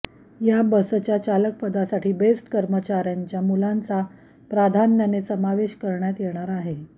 या बसच्या चालकपदासाठी बेस्ट कर्मचाऱ्यांच्या मुलांचा प्राधान्याने समावेश करण्यात येणार आहे